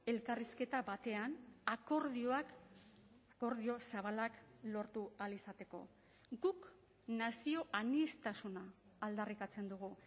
elkarrizketa batean akordioak akordio zabalak lortu ahal izateko guk nazio aniztasuna aldarrikatzen dugu